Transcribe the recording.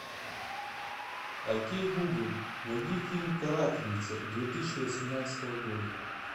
окей гугл найди фильм карательница две тысячи восемнадцатого года